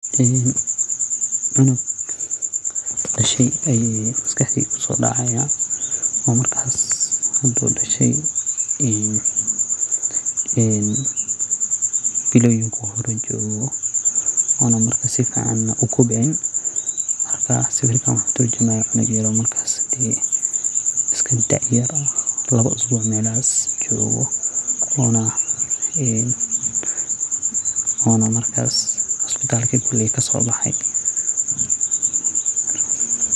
In uu cunug dashey aya maskaxdeyda kusodacaya oo cunugaas intu dashey ee biloyinka uhore jogo ona markasifican an ukobcin marka sawirkan wuxu turjumaya cunug yaro markas dee iskadaa yar ah. Lawo isbuuc melahas ayu nolayahay ona markas isbitalka kasobaxay.